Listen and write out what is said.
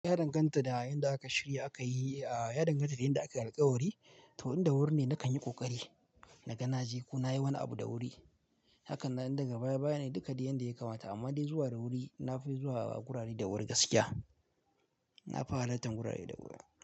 Ya danganta da yanda aka shirya aka yi, ah ya danganta da yanda akai alkawari. To inda wuri ne na kan yi ƙoƙari, na ga na je ko na yi wani abu da wuri. Haka nan daga baya baya ne duka dai yadda ya kamata amma dai zuwa da wuri na fi zuwa wurare da wurin gaskiya. Na fi halartan wurare da wuri.